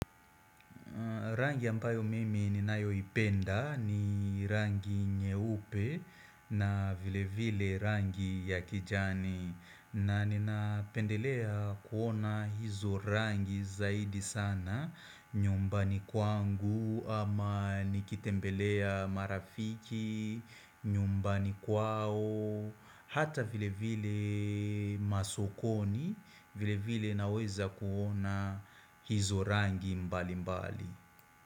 Rangi ambayo mimi ni nayo ipenda ni rangi nyeupe na vile vile rangi ya kijani. Na nina pendelea kuona hizo rangi zaidi sana nyumbani kwangu ama nikitembelea marafiki, nyumbani kwao, hata vile vile masokoni vile vile naweza kuona hizo rangi mbali mbali.